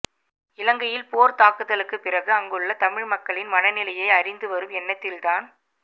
இலங்கையில் போர் தாக்குதலுக்குப் பிறகு அங்குள்ள தமிழ் மக்களின் மனநிலையை அறிந்துவரும் எண்ணத்தில்தான்